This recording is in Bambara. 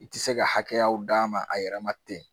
I tɛ se ka hakɛw d'a ma a yɛrɛ ma ten